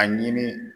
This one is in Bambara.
A ɲini